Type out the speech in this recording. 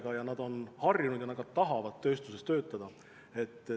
Need inimesed on harjunud tööstuses töötama ja nad ka tahavad tööstuses töötada.